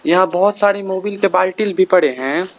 बहुत सारी मोवील बाल्टील पड़े हैं।